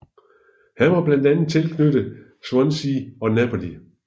Han var blandt andet tilknyttet Swansea og Napoli